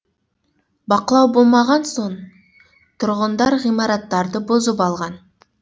бақылау болмаған соң тұрғындар ғимараттарды бұзып алған